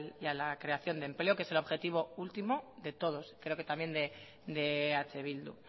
y a la creación de empleo que es el objetivo último de todos creo que también de eh bildu